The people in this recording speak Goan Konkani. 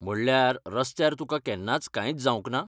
म्हणल्यार, रस्त्यार तुका केन्नाच कांयच जावंक ना?